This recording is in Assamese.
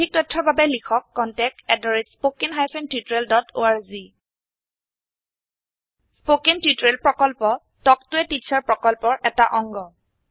অধিক তথ্যৰ বাবে লিখক contactspoken tutorialorg স্পোকেন টিউটোৰিয়েল প্ৰকল্প তাল্ক ত a টিচাৰ প্ৰকল্পৰ এটা অংগ